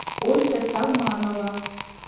ольга салманова